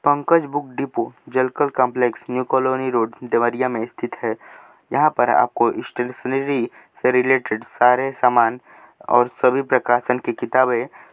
Pankaj book depot Jalkal complex new colony road Deoria में स्थित है यहाँ पर स्टेशनरी से रिलेटेड सारे सामन और सभी प्रकाशन की किताबें --